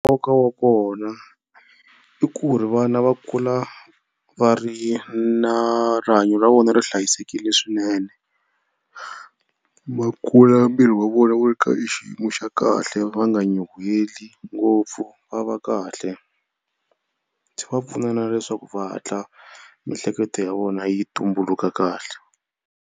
Nkoka wa kona i ku ri vana va kula va ri na rihanyo ra vona ri hlayisekile swinene. Va kula miri wa vona wu ri ka xiyimo xa kahle va nga nyuheli ngopfu va va kahle. Swi va pfuna na leswaku va hatla mihleketo ya vona yi tumbuluka kahle.